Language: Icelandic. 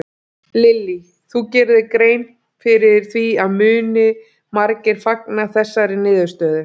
Lillý: Þú gerir þér grein fyrir því að muni margir fagna þessari niðurstöðu?